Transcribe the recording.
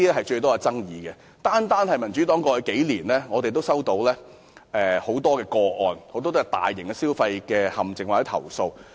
在過去數年，單是民主黨便已經收到很多求助個案，涉及大型消費陷阱或投訴。